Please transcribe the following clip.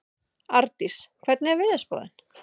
Ardís, hvernig er veðurspáin?